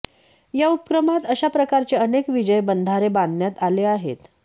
या उपक्रमात अशा प्रकारचे अनेक विजय बंधारे बांधण्यात आले आहेत